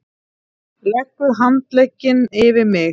Leggur handlegginn yfir mig.